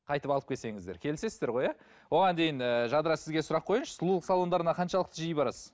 қайтып алып келсеңіздер келісесіздер ғой иә оған дейін ііі жадыра сізге сұрақ қояйыншы сұлулық салондарына қаншалықты жиі барасыз